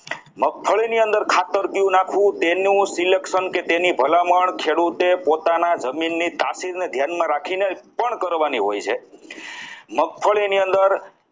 મગફળી ની અંદર ખાતર કયું નાખવું તેનું selection કે તેની ભલામણ ખેડૂતે પોતાના જમીનની ધ્યાનમાં રાખીને પણ કરવાની હોય છે મગફળી ની અંદર